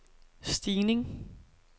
stigning